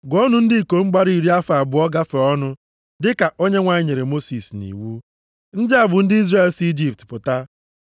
“Gụọnụ ndị ikom gbara iri afọ abụọ gafee ọnụ, dịka Onyenwe anyị nyere Mosis nʼiwu.” Ndị a bụ ndị Izrel si Ijipt pụta: